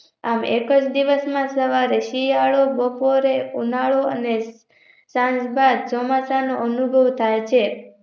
આમ એકજ દિવસ માં સવારે શિયાળો બપોરે ઉનાળો અને સંજબાદ ચોમાસાનો અનુભવ થાય છે.